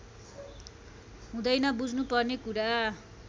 हुँदैन बुझ्नु पर्ने कुरा